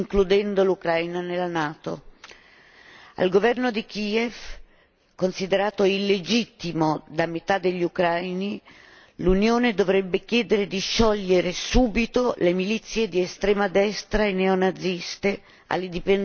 Al governo di Kiev, considerato illegittimo da metà degli ucraini, l'Unione dovrebbe chiedere di sciogliere subito le milizie di estrema destra e neonaziste alle dipendenze del ministero dell'Interno a Kiev.